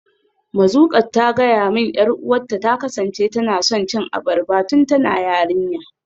Mazuqat ta gaya min 'yar uwarta ta kasance tana son cin abarba tun tana yarinya.